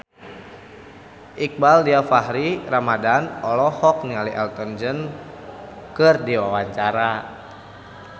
Iqbaal Dhiafakhri Ramadhan olohok ningali Elton John keur diwawancara